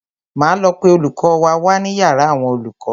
Máa lọ pe olùkọ́ wa wá ní yàrá àwọn olùkọ́.